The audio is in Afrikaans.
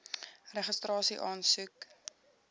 registrasieaansoek